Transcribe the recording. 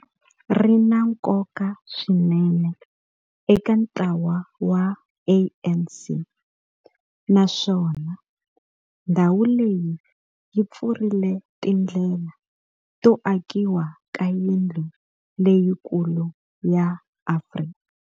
Ri na nkoka swinene eka ntlawa wa ANC, naswona ndhawu leyi yi pfurile tindlela to akiwa ka yindlu leyikulu ya Afrika.